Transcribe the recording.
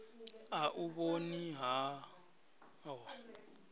a u vhoni ha ho